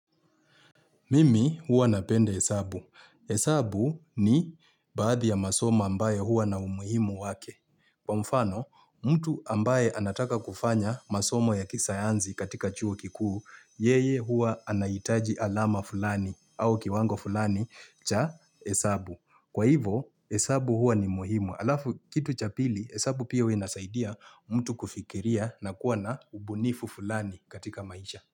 Mimi huwa napenda hesabu. Hesabu ni baadhi ya masoma ambayo huwa na umuhimu wake. Kwa mfano, mtu ambaye anataka kufanya masomo ya kisayansi katika chuo kikuu, yeye huwa anaitaji alama fulani au kiwango fulani cha hesabu. Kwa hivo, hesabu huwa ni muhimu. Alafu kitu cha pili, hesabu pia inasaidia mtu kufikiria na kuwa na ubunifu fulani katika maisha.